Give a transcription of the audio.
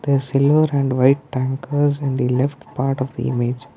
there is silver and white tankers in the left part of the image.